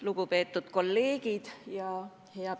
Lugupeetud kolleegid!